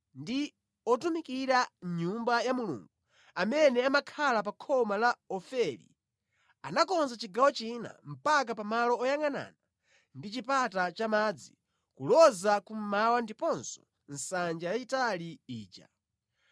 ndi otumikira mʼNyumba ya Mulungu amene amakhala pa khoma la Ofeli anakonza chigawo china mpaka pa malo oyangʼanana ndi Chipata cha Madzi kuloza kummawa ndiponso nsanja yayitali ija.